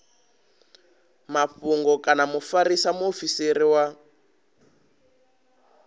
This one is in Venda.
mafhungo kana mufarisa muofisiri wa